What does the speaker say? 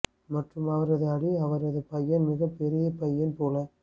மற்றும் அவரது அடி அவரது பையன் மிக பெரிய பையன் போல